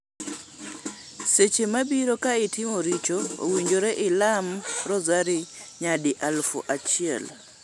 Seche mabiro ka itimo richo, owinjore ilam rosary nyadi aluf achiel.